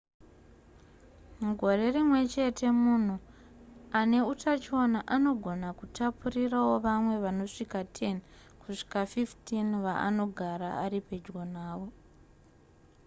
mugore rimwe chete munhu ane utachiona anogona kutapurirawo vamwe vanosvika 10 kusvika 15 vaanogara ari pedyo navo